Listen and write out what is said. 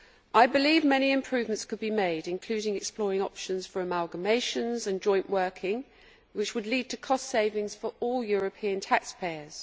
I believe many improvements could be made, including exploring options for amalgamations and joint working, which would lead to cost savings for all European taxpayers.